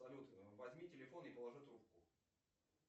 салют возьми телефон и положи трубку